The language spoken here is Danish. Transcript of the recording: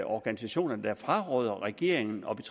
organisationer der fraråder regeringen og